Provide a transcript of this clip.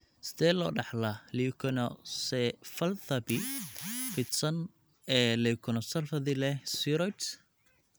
Sidee loo dhaxlaa leukoencephalopathy fidsan ee leukoencephalopathy leh spheroids (HDLS)?